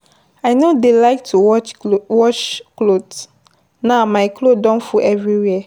I no dey like to watch cloth. Now, my cloth don full everywhere.